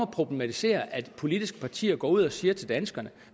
problematiserer at politiske partier går ud og siger til danskerne